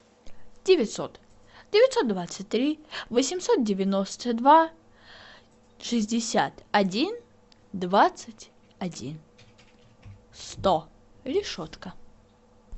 девятьсот девятьсот двадцать три восемьсот девяносто два шестьдесят один двадцать один сто решетка